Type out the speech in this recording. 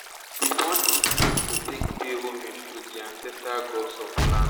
burn incense to take pay homage to di ancestral gods of di land